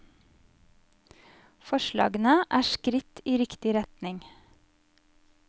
Forslagene er skritt i riktig retning.